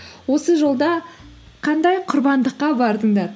осы жолда қандай құрбандыққа бардыңдар